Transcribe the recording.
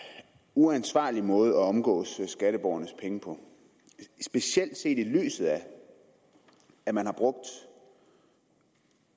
uansvarlig måde at omgås skatteborgernes penge på specielt set i lyset af at man har brugt